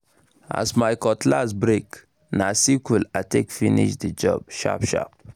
as my cutlass break na sickle i take finish the job sharp-sharp